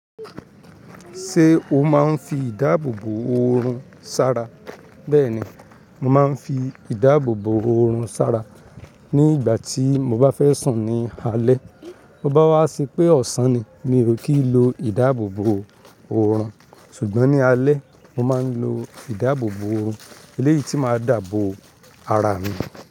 Ṣé o máa ń fi ìdáàbòbò oorun sara? Bẹ́ẹ̀ni, mo máa ń fi ìdáàbòbò oorun sara ní igba tí mo bá fẹ́ sùn ní alẹ́. To bá wá se pé ọ̀sán ni mi ò kí ń lo ìdáàbòbò oorun ṣùgbọ́n ní alẹ́ mo máa ń lo ìdáàbòbò eléyìí tí máa dabo ara mi.